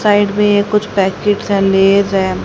Side में कुछ packets हैं लेज हैं।